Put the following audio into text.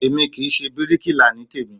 Èmi kì í ṣe bíríkilà ní tèmí